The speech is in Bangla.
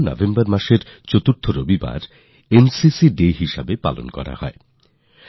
নভেম্বর মাসের চতুর্থ রবিবার প্রতি বছর NCCDayহিসাবে সর্বদা মনে রাখা হয়